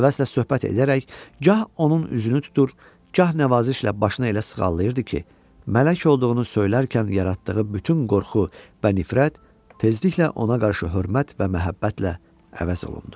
Həvəslə söhbət edərək gah onun üzünü tutur, gah nəvazişlə başına elə sığallayırdı ki, mələk olduğunu söylərkən yaratdığı bütün qorxu və nifrət tezliklə ona qarşı hörmət və məhəbbətlə əvəz olundu.